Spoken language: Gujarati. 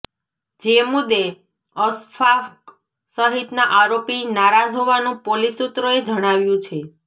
જે મુદ્દે અશફાક સહિતના આરોપી નારાજ હોવાનું પોલીસ સૂત્રોએ જણાવ્યું છે